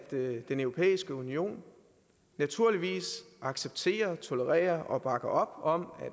den europæiske union naturligvis accepterer tolererer og bakker op om